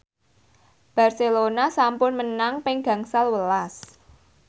Barcelona sampun menang ping gangsal welas